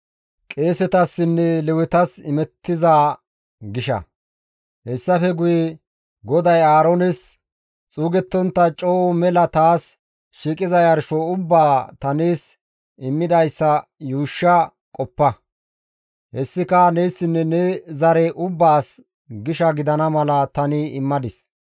Hayssafe guye GODAY Aaroones, «Xuugettontta coo mela taas shiiqiza yarsho ubbaa ta nees immidayssa yuushsha qoppa; hessika neessinne ne zare ubbaas gisha gidana mala tani immadis.